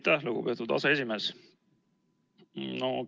Aitäh, lugupeetud aseesimees!